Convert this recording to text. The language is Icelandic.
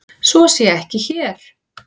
Svo sé ekki hér.